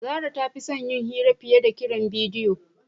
Zara ta fi son yin hira fiye da kiran bidiyo.